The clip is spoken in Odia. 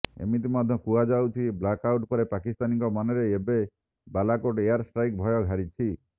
ଏମିତି ମଧ୍ୟ କୁହାଯାଉଛି ବ୍ଲାକ୍ଆଉଟ୍ ପରେ ପାକିସ୍ତାନୀଙ୍କ ମନରେ ଏବେ ବାଲାକୋଟ ଏୟାର ଷ୍ଟ୍ରାଇକ୍ ଭୟ ଘାରିଛି